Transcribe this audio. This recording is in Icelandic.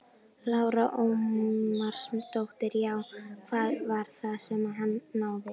Lára Ómarsdóttir: Já, hvað var það sem að hann náði?